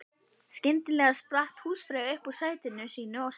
Skyndilega spratt húsfreyja upp úr sæti sínu og sagði